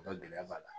Ka gɛlɛya b'a la